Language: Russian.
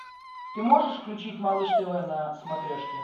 ты можешь включить малыш тв на смотрешке